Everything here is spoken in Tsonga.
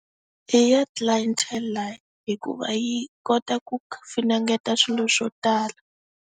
I ya Clientele life, hikuva yi kota ku finingeta swilo swo tala.